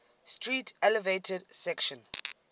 street elevated section